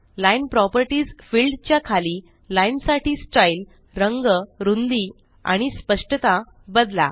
line properties field च्या खाली line साठी स्टाइल रंग रुंदी आणि स्पष्टता बदला